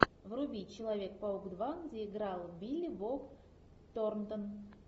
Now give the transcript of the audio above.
вруби человек паук два где играл билли боб торнтон